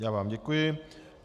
Já vám děkuji.